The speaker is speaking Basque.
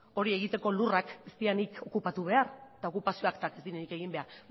hori egiteko lurrak ez direnik okupatu behar eta okupazioak eta ez direnik egin behar